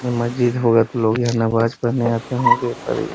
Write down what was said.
ये मज़ीद हाेवत लोग यहाँ नमाज़ पढ़ने आते होंगे पर य --